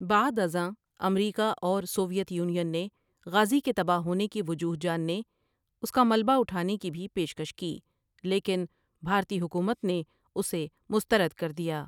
بعدازاں America اور Soviet Union نے غازی کے تباہ ہونے کی وجوہ جاننے اس کا ملبہ اُٹھانے کی بھی پیش کش کی لیکن بھارتی حکومت نے اسے مسترد کردیا ۔